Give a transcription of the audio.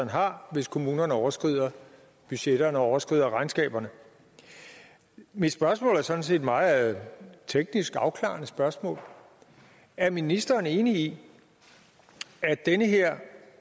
har hvis kommunerne overskrider budgetterne og overskrider regnskaberne mit spørgsmål er sådan set et meget teknisk afklarende spørgsmål er ministeren enig i at den her